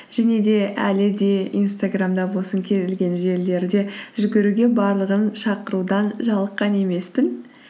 және де әлі де инстаграмда болсын кез келген жерлерде жүгіруге барлығын шақырудан жалыққан емеспін